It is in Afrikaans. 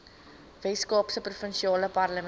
weskaapse provinsiale parlement